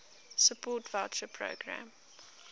support voucher programme